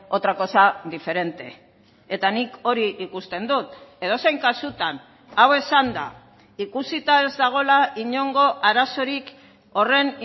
otra cosa diferente eta nik hori ikusten dut edozein kasutan hau esanda ikusita ez dagoela inongo arazorik horren